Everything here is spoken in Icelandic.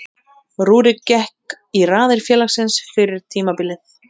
Rúrik gekk í raðir félagsins fyrir tímabilið.